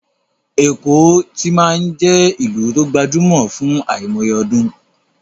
Èkó ti máa ń jẹ́ ìlú tó gbajúmọ̀ fún àìmọye ọdún